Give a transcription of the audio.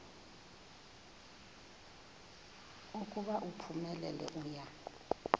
ukuba uphumelele uya